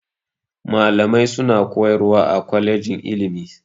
Malamai suna koyarwa a kwalejin ilimi.